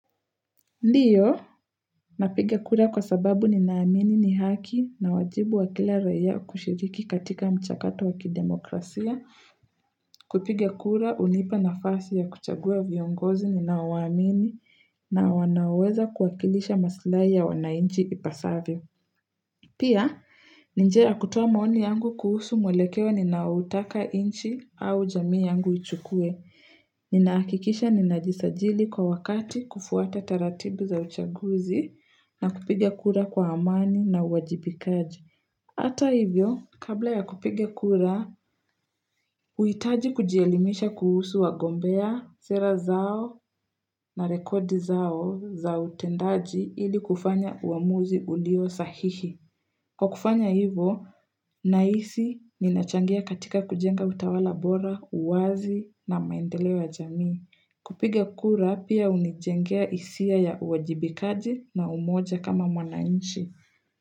Ndiyo, napiga kura kwa sababu ninaamini ni haki na wajibu wa kila raia kushiriki katika mchakato waki demokrasia, kupiga kura hunipa nafasi ya kuchagua viongozi ninaowaamini na wanaoweza kuakilisha maslahi ya wanainchi ipasavyo. Pia, ni njia ya kutoa maoni yangu kuhusu mwelekeo ninaoutaka inchi au jamii yangu ichukue. Ninahakikisha ninajisajili kwa wakati kufuata taratibu za uchaguzi na kupige kura kwa amani na uwajibikaji. Ata hivyo, kabla ya kupiga kura, huhitaji kujielimisha kuhusu wagombea, sera zao na rekodi zao za utendaji ili kufanya uamuzi ulio sahihi. Kwa kufanya hivo, nahisi ninachangia katika kujenga utawala bora, uwazi na maendeleo ya jamii. Kupiga kura pia hunijengea hisia ya uwajibikaji na umoja kama mwanainchi.